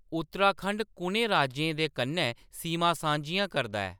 उत्तराखंड कुʼनें राज्यें दे कन्नै सीमां सांझियां करदा ऐ